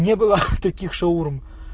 не было таких шаурм